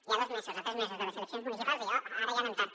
i a dos mesos o a tres mesos de les eleccions municipals ara ja anem tard